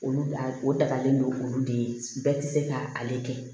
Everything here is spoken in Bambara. Olu la o dagalen don olu de ye bɛɛ tɛ se ka ale kɛ